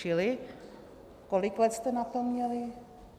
Čili kolik let jste na to měli?